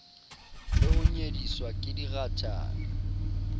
le ho nyediswa ke dirathana